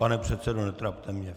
Pane předsedo, netrapte mě!